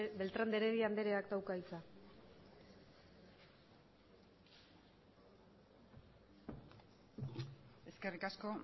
beltrán de heredia andereak dauka hitza eskerrik asko